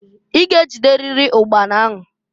I ga-ejiteriri ụkpana ahụ.